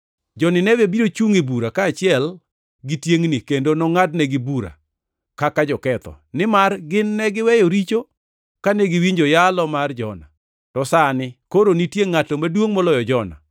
Jo-Nineve biro chungʼ e bura kaachiel gi tiengʼni kendo nongʼadnegi bura kaka joketho; nimar gin ne giweyo richo kane giwinjo yalo mar Jona, to sani koro nitie ngʼato maduongʼ moloyo Jona.